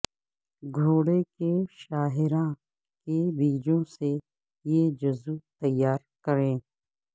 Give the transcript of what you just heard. گھوڑے کے شاہراہ کے بیجوں سے یہ جزو تیار کریں